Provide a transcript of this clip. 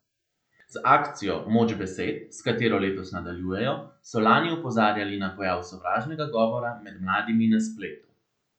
Z akcijo Moč besed, s katero letos nadaljujejo, so lani opozarjali na pojav sovražnega govora med mladimi na spletu.